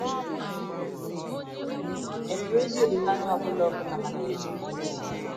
È nwere ezi olileanya ọ bụla ọ bụla maka ịdị n’otu nke ụwa?